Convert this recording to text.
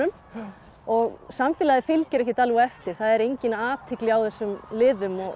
og samfélagið fylgir ekkert alveg á eftir það er engin athygli á þessum liðum